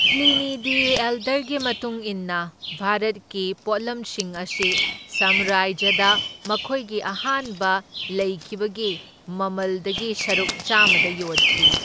Pliny the ꯑꯦꯜꯗꯔꯒꯤ ꯃꯇꯨꯡ ꯏꯟꯅ ꯚꯥꯔꯠꯀꯤ ꯄꯣꯠꯂꯝꯁꯤꯡ ꯑꯁꯤ ꯁꯥꯝꯔꯥꯖ꯭ꯌꯗ ꯃꯈꯣꯏꯒꯤ ꯑꯍꯥꯟꯕ ꯂꯩꯈꯤꯕꯒꯤ ꯃꯃꯜꯗꯒꯤ ꯁꯔꯨꯛ ꯆꯥꯝꯃꯗ ꯌꯣꯜꯈꯤ꯫